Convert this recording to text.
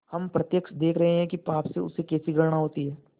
हम प्रत्यक्ष देख रहे हैं कि पाप से उसे कैसी घृणा होती है